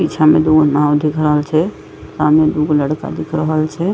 पीछा में दुगो नाव दिख रहल छै सामने दुगो लड़का दिख रहल छै।